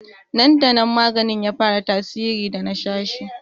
Nan da nan maganin ya fara tasiri bayan na sha shi